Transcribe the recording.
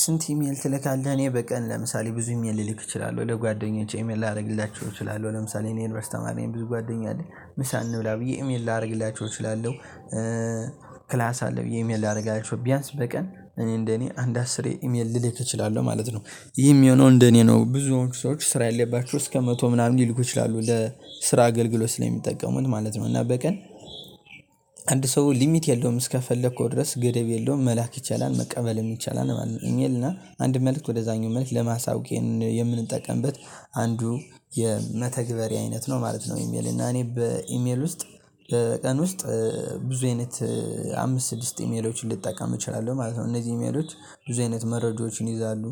ስንት? ኢሜል ትልካለህ እኔ በቀን ለምሳሌ ብዙ ኢሜል ልልክ እችላለሁ ወደ ለጓደኞቼ ኢሜል ላደርግላችሁ እችላለሁ ለምሳሌ እኔ የዩንቨርስቲ ተማሪ እኔን ብዙ ጓደኛ አለኝ ምሳ እንብላ ብዬ ኢሜል ላደርግላችሁ እችላለሁ ክላስ አለ ብዬ ኢሜል ላደርጋችሁ ቢያንስ በቀን እኔ እንደኔ አንድ አስሬ ኢሜል ልልክ እችላለሁ ማለት ነው። ይህም የሆነው እንደኔ ነው ብዙዎቹ ሰዎች ስራ ያለባችሁ እስከ መቶ ምናምን ሊልኩ ይችላሉ እንደ ስራ አገልግሎት ስለሚጠቀሙን ማለት ነው። እና በቀን አንድ ሰው ሊሚት የለውም እስከፈለከው ድረስ ገደብ የለውም መላክ ይቻላል መቀበልም ይቻላል ማለት ነው። ኢሜልና አንድ መልእክት ወደዛኛው መልእክት ለማሳወቅ የምንጠቀምበት አንዱ የመተግበሪያ አይነት ነው ማለት ነው። ኢሜል እና እኔ በኢሜል ውስጥ ቀን ውስጥ ብዙ አይነት አምስት ስድስት ኢሜሎችን ልትጠቀም እችላለሁ ማለት ነው። እነዚህ ኢሜሎች ብዙ አይነት መረጃዎችን ይይዛሉ።